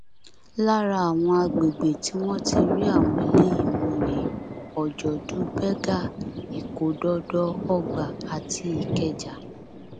lára àwọn àgbègbè tí wọn ti rí àwọn eléyìí mú ni ọjọdù berger ìkódọdọ ọgbà àti ìkẹjà